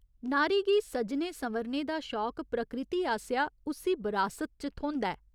नारी गी सज्जने संवरने दा शौक प्रकृति आसेआ उस्सी बरासत च थ्होंदा ऐ।